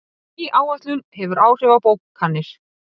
Ný áætlun hefur áhrif á bókanir